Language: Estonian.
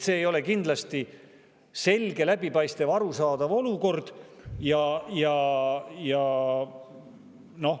See ei ole kindlasti selge, läbipaistev ja arusaadav olukord.